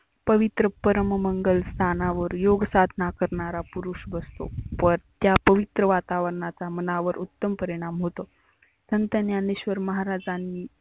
पवित्र परम मंगल स्थानावर योग साधना करणारा पुरुष बसतो. त्या पवित्र वातावरनाचा मनावर उत्तम परिनाम होतो. संत ज्ञेनेश्वर महाराजांनी